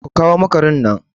Ku kawo makaran nan!